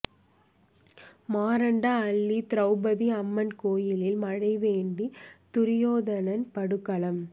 மாரண்ட அள்ளி திரௌபதி அம்மன் கோயிலில் மழை வேண்டி துரியோதனன் படுகளம்